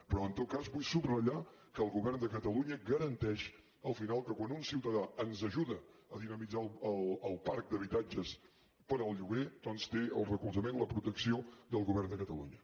però en tot cas vull subratllar que el govern de catalunya garanteix al final que quan un ciutadà ens ajuda a dinamitzar el parc d’habitatges per al lloguer doncs té el recolzament la protecció del govern de catalunya